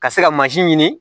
Ka se ka ɲini